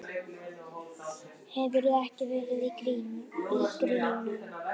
Hefurðu ekki verið í gírnum?